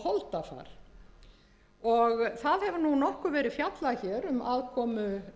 og holdafar það hefur nú nokkuð verið fjallað hér um aðkomu